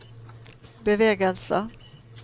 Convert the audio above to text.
bevegelse